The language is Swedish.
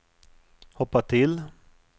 hoppa till